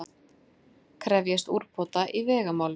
Krefjast úrbóta í vegamálum